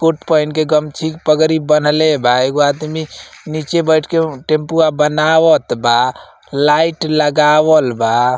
कोट पहिन के गमछी पगरी बांहले बा। एगो आदमी नीचे बईठ के टम्पूवा बनावत बा। लाइट लगावल बा।